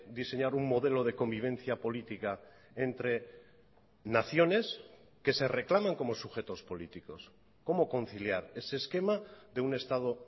diseñar un modelo de convivencia política entre naciones que se reclaman como sujetos políticos cómo conciliar ese esquema de un estado